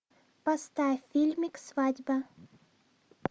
поставь фильмик свадьба